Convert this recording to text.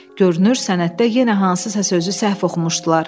Görünür sənəddə yenə hansısa sözü səhv oxumuşdular.